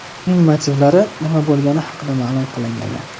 Uning motivlari nima bo‘lgani haqida ma’lum qilinmagan.